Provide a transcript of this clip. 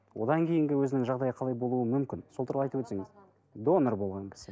одан кейінгі өзінің жағдайы қалай болуы мүмкін сол туралы айтып өтсеңіз донор болған кісі